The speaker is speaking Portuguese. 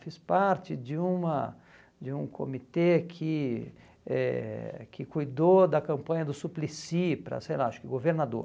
Fiz parte de uma de um comitê que eh que cuidou da campanha do Suplicy para, sei lá, acho que governador.